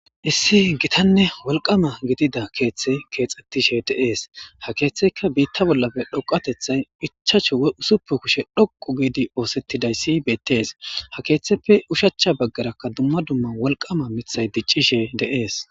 Issi gitanne wolqama gidida keeththey keexxettishe de7ees ha keeththeyka biitta bollafe dhoqatethay ichachu woy usuppu kushe dhoqu giidi oosettidayssi beettees ha keeththeppe ushachcha baggarakka dumma dumma wolqama mithay diccishe de7ees.